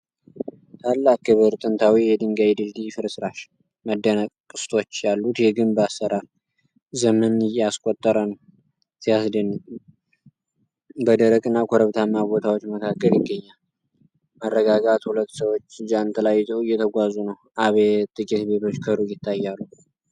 ታላቅ ክብር! ጥንታዊ የድንጋይ ድልድይ ፍርስራሽ። መደነቅ። ቅስቶች ያሉት የግንብ አሠራር ዘመን ያስቆጠረ ነው። ሲያስደንቅ! በደረቅና ኮረብታማ ቦታዎች መካከል ይገኛል። መረጋጋት። ሁለት ሰዎች ጃንጥላ ይዘው እየተጓዙ ነው። አቤት! ጥቂት ቤቶች ከሩቅ ይታያሉ።